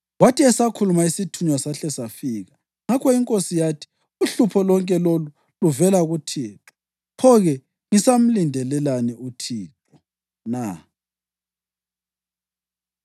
Kwathi esakhuluma, isithunywa sahle safika. Ngakho inkosi yathi, “Uhlupho lonke lolu luvela kuThixo. Pho-ke ngisamlindelelani uThixo na?”